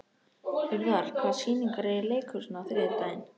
Urðar, hvaða sýningar eru í leikhúsinu á þriðjudaginn?